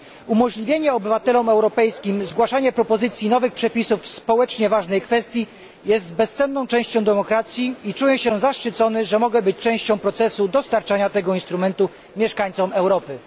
Umożliwienie obywatelom europejskim zgłaszania propozycji nowych przepisów w społecznie ważnej kwestii jest bezcenną częścią demokracji i czuję się zaszczycony, że mogę być częścią procesu dostarczania tego instrumentu mieszkańcom Europy.